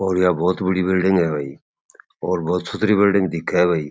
और या बहुत बड़ी बिल्डिंग है भाई और बहुत सुथरी बिल्डिंग दिखे है भाई।